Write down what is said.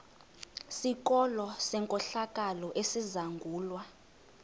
sikolo senkohlakalo esizangulwa